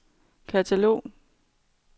katalog